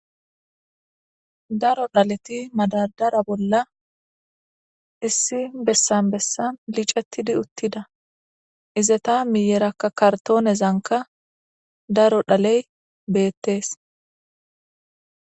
Daro dhaleti madadara bolla issi bessan bessan licettidi uttida izeta miyerakka kartoonezanka daro dhaley beettees.